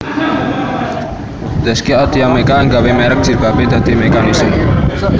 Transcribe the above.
Zaskia Adya Mecca nggawe merk jilbabe dadi Meccanism